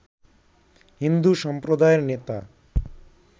হিন্দু সম্প্রদায়ের নেতা